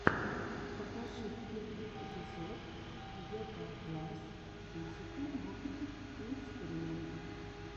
покажи первый эпизод гетаакласс физика в опытах и экспериментах